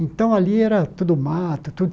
Então ali era tudo mato, tudo.